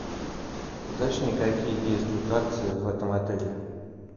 уточни какие действуют акции в этом отеле